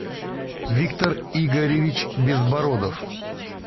виктор игоревич безбородов